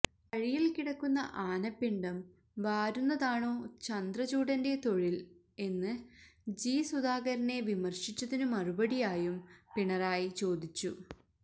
വഴിയില് കിടക്കുന്ന ആനപ്പിണ്ടം വാരുന്നതാണോ ചന്ദ്രചൂഡന്റെ തൊഴില് എന്ന് ജി സുധാകരനെ വിമര്ശിച്ചതിനു മറുപടിയായും പിണറായി ചോദിച്ചു